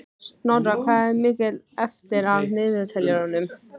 Snorra, hvað er mikið eftir af niðurteljaranum?